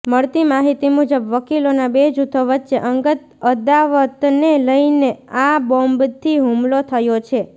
મળતી માહિતી મુજબ વકીલોના બે જૂથો વચ્ચે અંગત અદાવતને લઈને આ બોમ્બથી હુમલો થયો છે